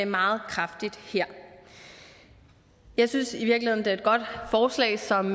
meget kraftigt her jeg synes i virkeligheden det er et godt forslag som